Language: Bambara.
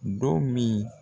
Don min